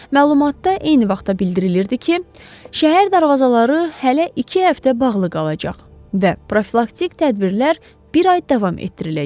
Məlumatda eyni vaxtda bildirilirdi ki, şəhər darvazaları hələ iki həftə bağlı qalacaq və profilaktik tədbirlər bir ay davam etdiriləcək.